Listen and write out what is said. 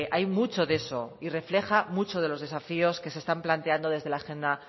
hay mucho de eso y refleja mucho de los desafíos que se están planteando desde la agenda